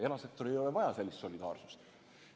Erasektoril ei ole vaja sellist solidaarsust.